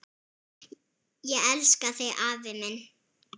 Ég elska þig, afi minn.